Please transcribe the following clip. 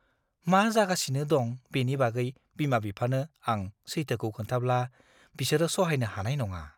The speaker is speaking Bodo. मा जागासिनो दं बेनि बागै बिमा बिफानो आं सैथोखौ खोन्थाब्ला, बिसोरो सहायनो हानाय नङा।